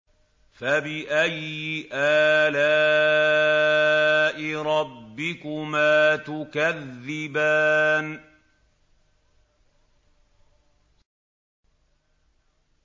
فَبِأَيِّ آلَاءِ رَبِّكُمَا تُكَذِّبَانِ